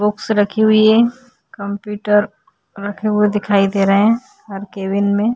Box रखी हुई है। कंप्यूटर रखे हुए दिखाई दे रहे हैं हर केबिन में।